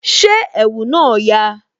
Ṣé ẹ̀wù náà yà?